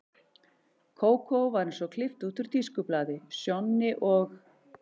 Kókó var eins og klippt út úr tískublaði, Sjonni og